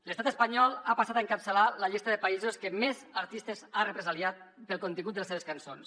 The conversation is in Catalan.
l’estat espanyol ha passat a encapçalar la llista de països que més artistes ha represaliat pel contingut de les seves cançons